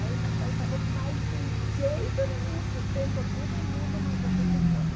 Aí meu pai falou, mais de jeito nenhum, sustento todo mundo, mas você se forma.